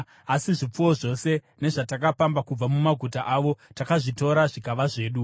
Asi zvipfuwo zvose nezvatakapamba kubva mumaguta avo takazvitora zvikava zvedu.